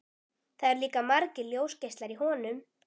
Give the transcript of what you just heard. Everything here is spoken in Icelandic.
Það eru líka margir ljósgeislar í honum.